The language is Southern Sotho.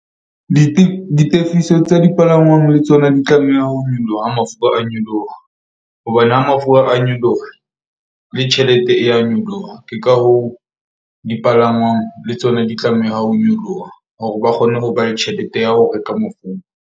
Ditefiso tsa dipalangwang le tsona di tlameha ho nyoloha ha mafura a nyoloha. Hobane ha mafura a nyoloha le tjhelete e ya nyoloha. Ke ka hoo dipalangwang le tsona di tlameha ho nyoloha hore ba kgone ho ba le tjhelete ya ho reka .